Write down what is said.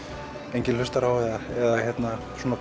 enginn hlustar á eða svona